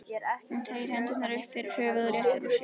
Hún teygir hendurnar upp fyrir höfuðið og réttir úr sér.